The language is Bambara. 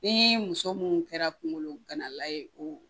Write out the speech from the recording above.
Ni muso mun kɛra kungolo gana la ye o